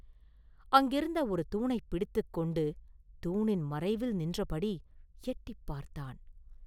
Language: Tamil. அங்கிருந்த ஒரு தூணைப் பிடித்துக் கொண்டு, தூணின் மறைவில் நின்றபடி எட்டிப் பார்த்தான்.